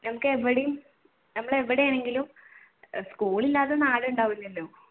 ഞമ്മക്ക് എവിടെയും നമ്മൾ എവിടെയാണെങ്കിലും സ്കൂൾ ഇല്ലാത്ത നാടുണ്ടാവില്ലല്ലോ